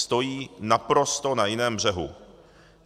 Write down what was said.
Stojí naprosto na jiném břehu.